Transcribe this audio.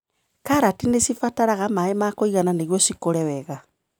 Karati nĩcibataraga maĩ ma kũigana nĩguo cikũre wega.